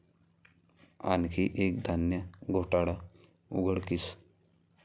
आणखी एक धान्य घोटाळा उघडकीस